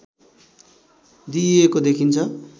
दिइएको देखिन्छ